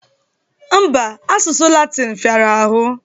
Mba, asụsụ Latịn fịara ahụ